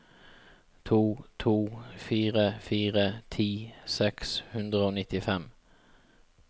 to to fire fire ti seks hundre og nittifem